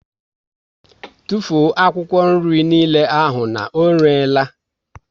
Tụfuo akwụkwọ niile ahụ na ọ rere la!